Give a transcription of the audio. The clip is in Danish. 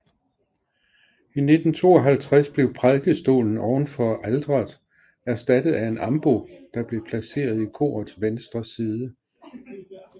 I 1952 blev prædikestolen ovenfor alteret erstattet af en ambo der blev placeret i korets venstre side